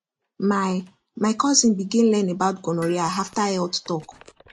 my my cousin begin learn about gonorrhea after health talk